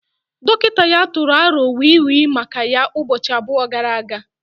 Dọkịta ya tụrụ aro wii wii maka ya ụbọchị abụọ gara aga